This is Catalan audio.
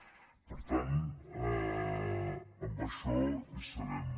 per tant en això hi serem